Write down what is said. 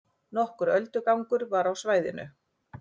Nokkur öldugangur var á svæðinu